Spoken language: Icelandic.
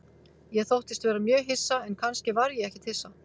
Ég þóttist vera mjög hissa, en kannski var ég ekkert hissa.